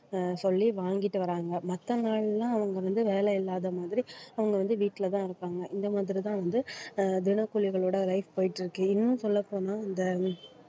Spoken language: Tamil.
ஆஹ் சொல்லி வாங்கிட்டு வராங்க. மத்த நாளெல்லாம் அவங்க வந்து வேலை இல்லாத மாதிரி அவங்க வந்து வீட்டுலதான் இருப்பாங்க. இந்த மாதிரிதான் வந்து ஆஹ் தினக்கூலிகளோட life போயிட்டு இருக்கு இன்னும் சொல்லப் போனா இந்த